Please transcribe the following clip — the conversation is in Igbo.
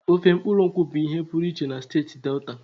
Ofe mkpuru nkwu bụ ihe pụrụ iche na steeti Delta.